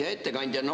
Hea ettekandja!